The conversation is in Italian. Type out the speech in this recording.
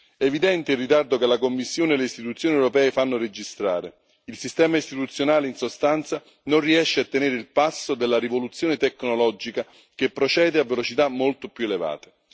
È evidente il ritardo che la Commissione e le istituzioni europee fanno registrare il sistema istituzionale, in sostanza, non riesce a tenere il passo della rivoluzione tecnologica, che procede a velocità molto più elevate.